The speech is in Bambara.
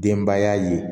Denbaya ye